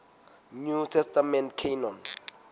new testament canon